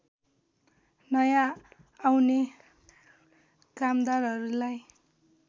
नयाँ आउने कामदारहरूलाई